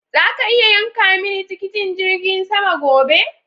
Zaka iya yanka mini tikitin jirgin sama gobe?